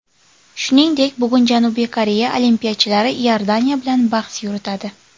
Shuningdek, bugun Janubiy Koreya olimpiyachilari Iordaniya bilan bahs yuritadi.